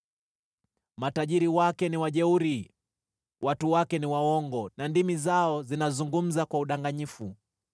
Matajiri wake ni wajeuri; watu wake ni waongo na ndimi zao zinazungumza kwa udanganyifu.